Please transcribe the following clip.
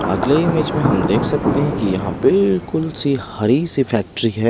अगले इमेज में हम देख सकते हैं कि यहाँ बिल्कुल सी हरी सी फैक्ट्री है।